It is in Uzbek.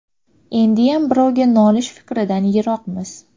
Endiyam birovga nolish fikridan yiroqmiz.